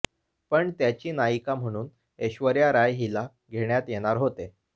पण त्याची नायिका म्हणून ऐश्वर्या राय हिला घेण्यात येणार होते